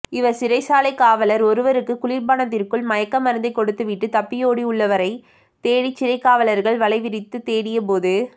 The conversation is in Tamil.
இவர் சிறைச்சாலை காவலர் ஒருவருக்கு குளிர்பானத்திற்குள் மயக்க மருந்தை கொடுத்து விட்டு தப்பியோடியுள்ளவரைத் தேடி சிறைக்காவலர்கள் வலைவிரித்து தேடியபோது